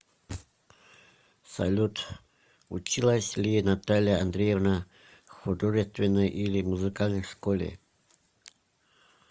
салют училась ли наталья андреевна в художественной или музыкальной школе